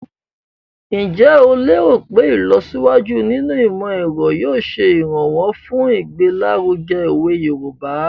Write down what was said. Njẹ́ o léèrò pé ìlọsíwájú nínú ìmọ̀-ẹ̀ro yóò ṣe ìrànwọ́ fun igbelaruge owe Yoruba?